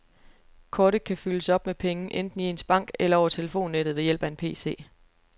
Kortet kan fyldes op med penge enten i ens bank eller over telefonnettet ved hjælp af en pc.